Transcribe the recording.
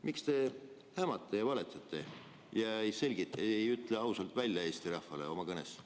Miks te hämate ja valetate ega ütle asju selgelt ja ausalt välja Eesti rahvale?